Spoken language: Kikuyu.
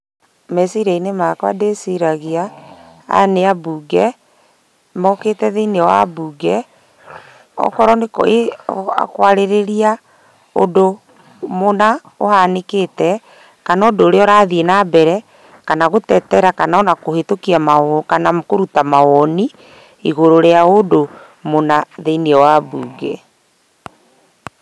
Meciria-inĩ makwa ndĩciragia, aya nĩ ambunge, mokĩte thĩiniĩ wa mbunge, okorwo nĩ kwarĩrĩria ũndũ mũna ũhanĩkĩte, kana ũndũ ũrathiĩ nambere, kana gũtetera kana ona kũhĩtũkia maundũ kana kũruta mawoni, igũrũ wa ũndũ mũna thĩiniĩ wa mbunge.